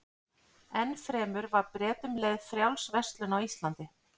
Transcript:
Enn fremur var Bretum leyfð frjáls verslun á Íslandi.